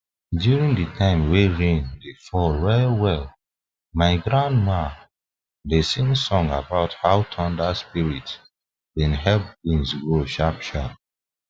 during the time wen rain dey fall well well my grandma dey sing song about how thunder spirits been help beans grow sharp sharp